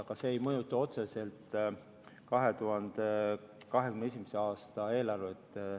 Aga see ei mõjuta otseselt 2021. aasta eelarvet.